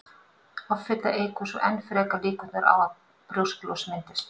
Offita eykur svo enn frekar líkurnar á að brjósklos myndist.